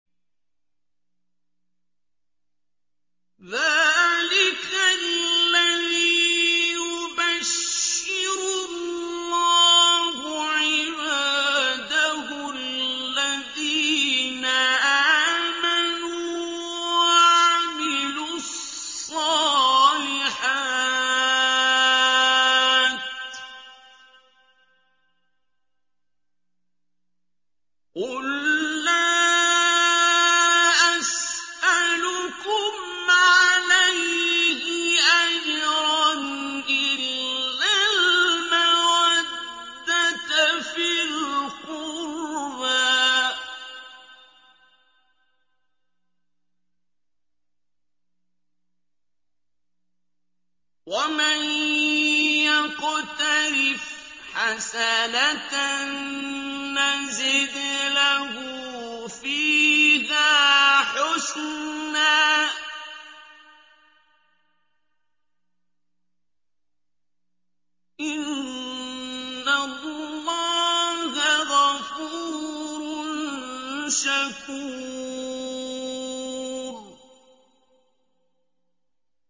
ذَٰلِكَ الَّذِي يُبَشِّرُ اللَّهُ عِبَادَهُ الَّذِينَ آمَنُوا وَعَمِلُوا الصَّالِحَاتِ ۗ قُل لَّا أَسْأَلُكُمْ عَلَيْهِ أَجْرًا إِلَّا الْمَوَدَّةَ فِي الْقُرْبَىٰ ۗ وَمَن يَقْتَرِفْ حَسَنَةً نَّزِدْ لَهُ فِيهَا حُسْنًا ۚ إِنَّ اللَّهَ غَفُورٌ شَكُورٌ